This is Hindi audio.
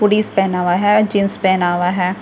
हूदीस पहना हुआ है जींस पहना हुआ है।